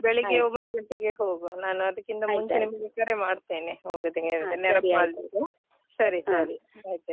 ಬೆಳಿಗ್ಗೆ ಒಂಬತ್ತು ಗಂಟೆಗೆ ಹೋಗುವ ನಾನು ಅದಕ್ಕಿಂತ ನಿಮ್ಗೆ ಕರೆ ಮಾಡ್ತೇನೆ ಹೋಗುದ್ ನೆನಪು ಮಾಡ್ತೇನೆ . ಸರಿ ಸರಿ ಆಯ್ತ ಆಯ್ತು.